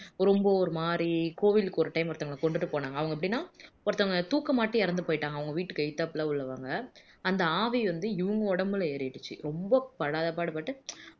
ரொம்ப ஒரு மாதிரி கோவிலுக்கு ஒரு time ஒருத்தரை கொண்டுட்டு போனாங்க அவங்க எப்படின்னா ஒருத்தவங்க தூக்கு மாட்டி இறந்துபோயிட்டாங்க அவங்க வீட்டுக்கு எதுத்தாப்ல உள்ளவங்க அந்த ஆவி வந்து இவங்க உடம்புல ஏறிடுச்சு ரொம்ப படாத பாடு பட்டு